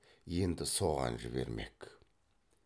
енді соған жібермек